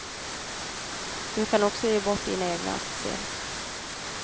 Du kan också ge bort dina egna aktier.